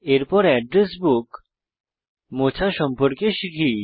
এরপর address book মোছা সম্পর্কে শিখি